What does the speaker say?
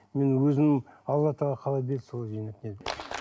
мен өзім алла тағала қалай берді солай жинап